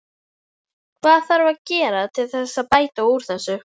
Hvað þarf að gera til þess að bæta úr þessu?